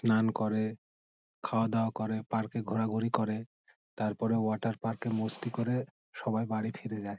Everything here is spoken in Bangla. স্নান করে খাওয়া-দাওয়া করে পার্ক -এ ঘোরাঘুরি করে ।তারপরে ওয়াটার পার্ক -এ মস্তি করে সবাই বাড়ি ফিরে যায়।